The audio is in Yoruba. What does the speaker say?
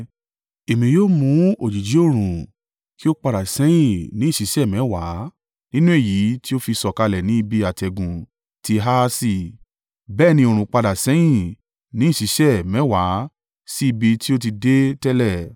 Èmi yóò mú òjìji oòrùn kí ó padà sẹ́yìn ní ìṣísẹ̀ mẹ́wàá nínú èyí tí ó fi sọ̀kalẹ̀ ní ibi àtẹ̀gùn ti Ahasi.’ ” Bẹ́ẹ̀ ni oòrùn padà sẹ́yìn ní ìṣísẹ̀ mẹ́wàá sí ibi tí ó ti dé tẹ́lẹ̀.